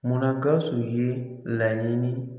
Munna Gawusu ye laɲini